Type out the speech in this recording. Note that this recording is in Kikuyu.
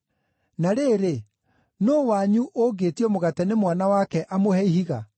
“Na rĩrĩ, nũũ wanyu ũngĩĩtio mũgate nĩ mwana wake amũhe ihiga?